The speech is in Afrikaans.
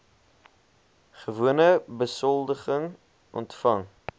gewone besoldiging ontvang